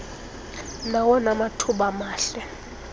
nawona mathuba mahle